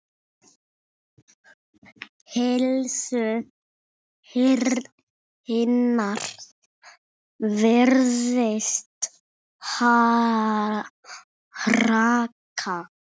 Heilsu hennar virðist hraka.